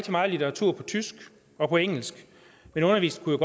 meget af litteraturen på tysk og på engelsk men undervisningen